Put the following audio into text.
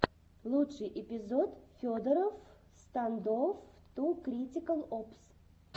лучший эпизод федороффф стандофф ту критикал опс